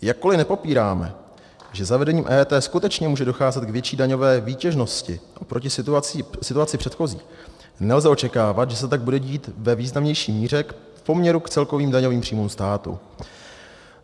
Jakkoliv nepopíráme, že zavedením EET skutečně může docházet k větší daňové výtěžnosti oproti situaci předchozí, nelze očekávat, že se tak bude dít ve významnější míře v poměru k celkovým daňovým příjmům státu.